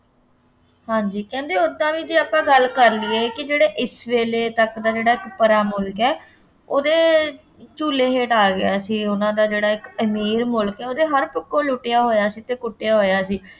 ਹਾਂਜੀ ਕਹਿੰਦੇ ਓਦਾਂ ਵੀ ਜੇ ਆਪਾਂ ਗੱਲ ਕਰ ਲਈਏ ਕਿ ਜਿਹੜੇ ਇਸ ਵੇਲੇ ਤੱਕ ਦਾ ਜਿਹੜਾ ਇੱਕ ਪਰਾ ਮੁਲਕ ਹੈ ਉਹਦੇ ਝੂਲੇ ਹੇਠ ਆ ਗਿਆ ਸੀ, ਉਹਨਾ ਦਾ ਜਿਹੜਾ ਇੱਕ ਅਮੀਰ ਮੁਲਕ ਹੈ, ਉਹਦੇ ਹਰ ਪੱਖੋਂ ਲੁੱਟਿਆ ਹੋਇਆ ਸੀ ਅਤੇ ਕੁੱਟਿਆ ਹੋਇਆ ਸੀ।